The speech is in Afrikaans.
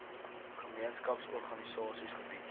gemeenskaps organisasies gebied